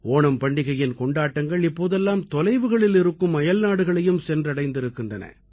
ஓணம் பண்டிகையின் கொண்டாட்டங்கள் இப்போதெல்லாம் தொலைவுகளில் இருக்கும் அயல்நாடுகளையும் சென்றடைந்திருக்கின்றன